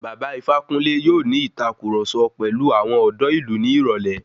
Bàba Ifákúnle yóò ní ìtàkurọ̀sọ pẹ̀lu àwọn ọ̀dọ́ ìlú ní ìrọ̀lẹ́.